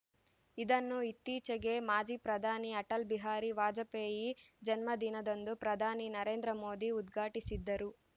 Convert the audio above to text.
ಇದನ್ನು ಇತ್ತೀಚೆಗೆ ಮಾಜಿ ಪ್ರಧಾನಿ ಅಟಲ್‌ ಬಿಹಾರಿ ವಾಜಪೇಯಿ ಜನ್ಮದಿನದಂದು ಪ್ರಧಾನಿ ನರೇಂದ್ರ ಮೋದಿ ಉದ್ಘಾಟಿಸಿದ್ದರು